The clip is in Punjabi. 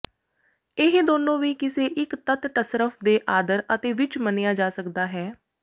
ਇਹ ਦੋਨੋ ਵੀ ਕਿਸੇ ਇਕ ਤੱਤ ਟਸਰਫ਼ ਦੇ ਆਦਰ ਅਤੇ ਵਿੱਚ ਮੰਨਿਆ ਜਾ ਸਕਦਾ ਹੈ